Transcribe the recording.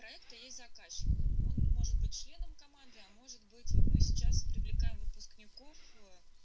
у проекта есть заказчик он может быть членом команды может быть сейчас привлекаем выпускников